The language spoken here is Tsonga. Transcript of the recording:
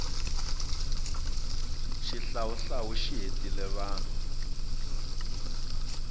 xihlawuhlawu xi hetile vanhu